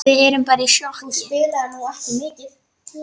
Við erum bara í sjokki.